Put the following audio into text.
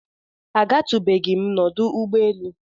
A gatụbeghịm nọdụ ụgbọ elu.